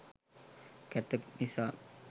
කැත නිසා